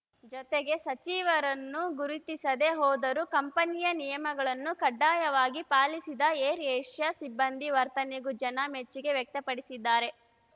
ಜೊತೆಗೆ ಸಚಿವರನ್ನು ಗುರುತಿಸದೇ ಹೋದರೂ ಕಂಪನಿಯ ನಿಯಮಗಳನ್ನು ಕಡ್ಡಾಯವಾಗಿ ಪಾಲಿಸಿದ ಏರ್‌ ಏಷ್ಯಾ ಸಿಬ್ಬಂದಿ ವರ್ತನೆಗೂ ಜನ ಮೆಚ್ಚುಗೆ ವ್ಯಕ್ತಪಡಿಸಿದ್ದಾರೆ